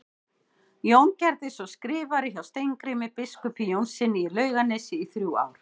Jón gerðist svo skrifari hjá Steingrími biskupi Jónssyni í Laugarnesi í þrjú ár.